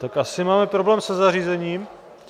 Tak asi máme problém se zařízením.